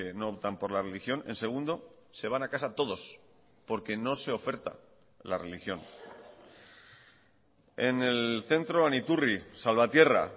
no optan por la religión en segundo se van a casa todos porque no se oferta la religión en el centro aniturri salvatierra